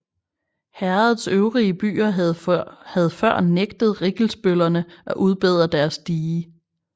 Herredets øvrige byer havde før nægtet rikkelsbøllerne at udbedre deres dige